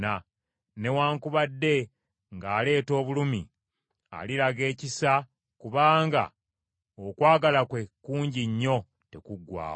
Newaakubadde ng’aleeta obulumi, aliraga ekisa kubanga okwagala kwe kungi nnyo tekuggwaawo.